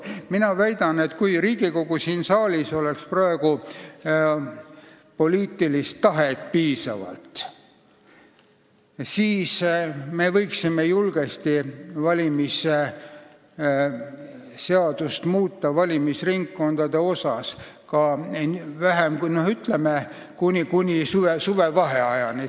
Mina väidan, et kui Riigikogu saalis oleks praegu piisavalt poliitilist tahet, siis me võiksime julgesti valimisseaduses valimisringkondade osa muuta, ütleme, kuni suvevaheajani.